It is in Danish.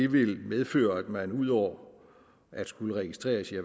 vil medføre at man udover at skulle registreres i